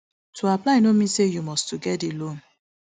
to apply no mean say you must to get di loan